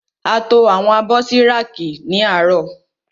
A to àwọn abọ́ sí rákì ní àárọ̀.